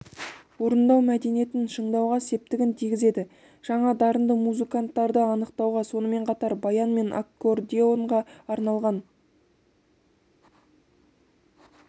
орындау мәдениетін шыңдауға септігін тигізеді жаңа дарынды музыканттарды анықтауға сонымен қатар баян мен аккордеонға арналған